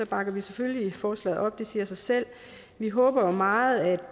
bakker vi selvfølgelig forslaget op det siger sig selv vi håber meget at